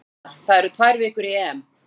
Góðu fréttirnar: það eru tvær vikur í EM.